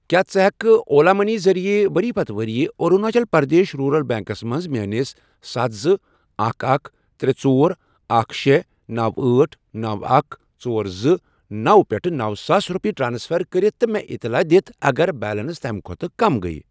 کیٛاہ ژٕ ہٮ۪کہٕ اولا مٔنی ذٔریعہٕ ؤری پتہٕ ؤری أروٗناچل پرٛدیش روٗرَل بیٚنٛکَس منٛز میٲنِس ستھَ، زٕ، اکھَ، اکھ، ترے، ژۄر، اکھَ، شے، نوَ، أٹھ، نوَ، اکھَ، ژور زٕ، نوَ، پٮ۪ٹھ نوَ ساس رۄپیہِ ٹرانسفر کٔرِتھ تہٕ مےٚ اطلاع دِتھ اگر بیلنس تَمہِ کھۄتہٕ کم گٔیۍ؟